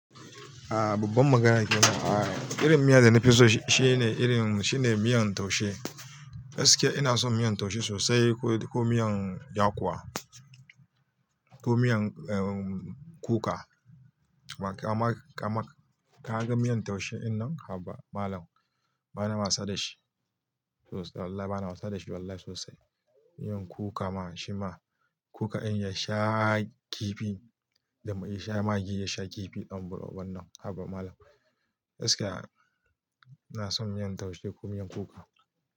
A babbar magana ke nan. Irin miya da nafi so shine irin, shine miyan taushe. Da gaske ina son miyan taushe sosai ko, ko miyan yakuwa, ko miyan, um, kuka. Ka ma, ka ma, ka gan miyan taushe dinnan? Haba malam. Bana wasa da shi. Sosai. Wallahi bana wasa da shi wallahi sosai. Miyan kuka ma shima. Kuka in ya sha kifi, da ya sha magi ya sha kifi, dan buro ubannan. Haba malam. Gaskiya ina son miyan taushe ko miyan kuka.